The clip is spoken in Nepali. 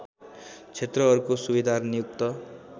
क्षेत्रहरूको सूबेदार नियुक्त